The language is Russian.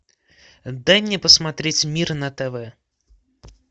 дай мне посмотреть мир на тв